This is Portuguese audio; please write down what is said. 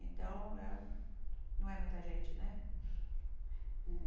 Então, não é muita gente, né?